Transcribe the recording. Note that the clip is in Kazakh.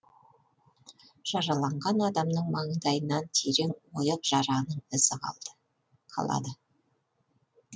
жараланған адамның маңдайынан терең ойық жараның ізі қалады